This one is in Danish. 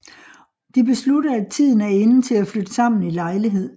De beslutter at tiden er inde til at flytte sammen i lejlighed